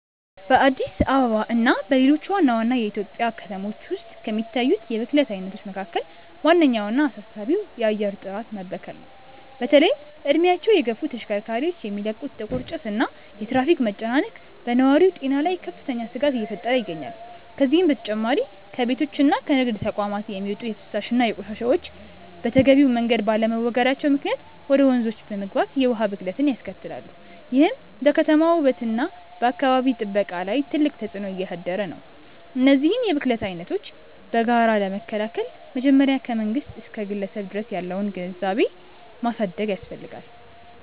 በአዲስ አበባ እና በሌሎች ዋና ዋና የኢትዮጵያ ከተሞች ውስጥ ከሚታዩት የብክለት አይነቶች መካከል ዋነኛውና አሳሳቢው የአየር ጥራት መበከል ነው። በተለይም እድሜያቸው የገፉ ተሽከርካሪዎች የሚለቁት ጥቁር ጭስ እና የትራፊክ መጨናነቅ በነዋሪው ጤና ላይ ከፍተኛ ስጋት እየፈጠረ ይገኛል። ከዚህም በተጨማሪ ከቤቶችና ከንግድ ተቋማት የሚወጡ የፍሳሽ ቆሻሻዎች በተገቢው መንገድ ባለመወገዳቸው ምክንያት ወደ ወንዞች በመግባት የውሃ ብክለትን ያስከትላሉ፤ ይህም በከተማዋ ውበትና በአካባቢ ጥበቃ ላይ ትልቅ ተጽዕኖ እያሳደረ ነው። እነዚህን የብክለት አይነቶች በጋራ ለመከላከል መጀመሪያ ከመንግስት እስከ ግለሰብ ድረስ ያለውን ግንዛቤ ማሳደግ ያስፈልጋል።